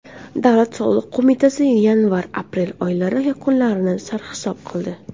Davlat soliq qo‘mitasi yanvar-aprel oylari yakunlarini sarhisob qildi.